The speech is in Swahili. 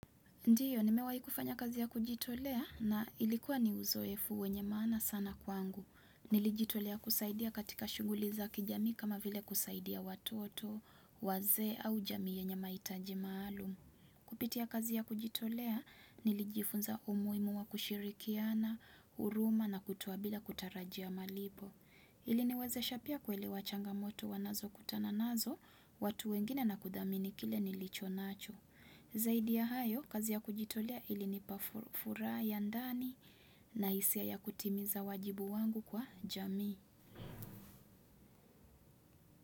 Ndio, nimewai kufanya kazi ya kujitolea na ilikuwa ni uzoefu wenye maana sana kwangu. Nilijitolea kusaidia katika shuguli za kijamii kama vile kusaidia watoto, wazee au jamii yenye mahitaji maalum. Kupitia kazi ya kujitolea, nilijifunza umuimu wa kushirikiana, huruma na kutoa bila kutarajia malipo. Iliniwezesha pia kuelewa changa moto wanazo kutana nazo, watu wengine na kudhamini kile nilicho nacho. Zaidi ya hayo, kazi ya kujitolea ili nipafuraha ya ndani na hisia ya kutimiza wajibu wangu kwa jamii.